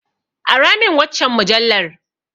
Aramin waccan mujallar.